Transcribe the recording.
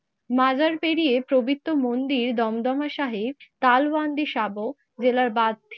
মাজার পেরিয়ে পবিত্র মন্দির দমদমা সাহির কালবন্দী সাব জেলার বাদী